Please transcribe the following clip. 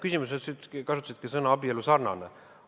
Küsimuses te kasutasite sõna "abielusarnane".